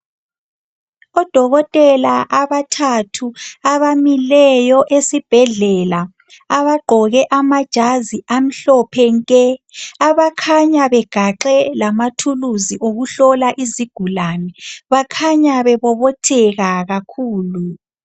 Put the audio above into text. Odokotela abathathu abamileyo esibhedlela abagqoke amajazi amhlophe nke abakhanya begaxe lamathuluzi okuhlola izigulane. Bakhanya bebobotheka kakhulu